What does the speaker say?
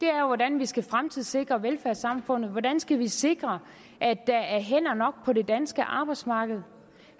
er jo hvordan vi skal fremtidssikre velfærdssamfundet og hvordan vi skal sikre at der er hænder nok på det danske arbejdsmarked